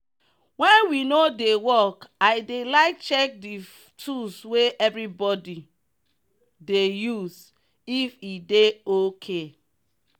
when we no dey work i dey like check the tools wey everybody dey use if e dey okay.